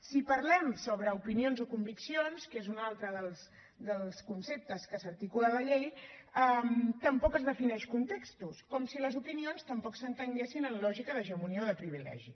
si parlem sobre opinions o conviccions que és un altre dels conceptes que s’articula a la llei tampoc es defineixen contextos com si les opinions tampoc s’entenguessin amb lògica d’hegemonia o de privilegi